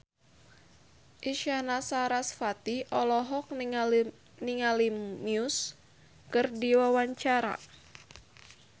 Isyana Sarasvati olohok ningali Muse keur diwawancara